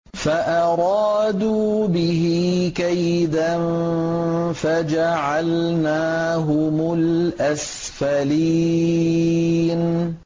فَأَرَادُوا بِهِ كَيْدًا فَجَعَلْنَاهُمُ الْأَسْفَلِينَ